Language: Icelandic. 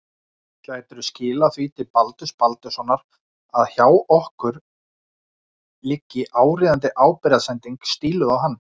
Gætirðu skilað því til Baldurs Baldurssonar að hjá okkur liggi áríðandi ábyrgðarsending stíluð á hann.